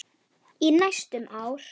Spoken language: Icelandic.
Í næstum ár.